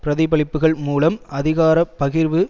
பிரதிபலிப்புக்கள் மூலம் அதிகார பகிர்வு